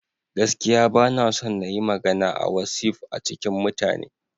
Gaskiya ba na son na yi magana a wasi'of a cikin mutane.